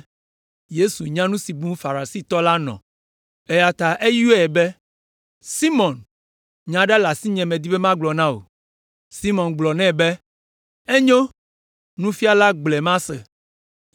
Yesu nya nu si bum Farisitɔ la nɔ, eya ta eyɔe be, “Simɔn, nya aɖe le asinye medi be magblɔ na wò.” Simɔn gblɔ nɛ be, “Enyo, Nufiala, gblɔe mase.”